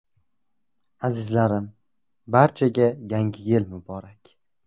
Azizlarim, barchaga – Yangi Yil muborak!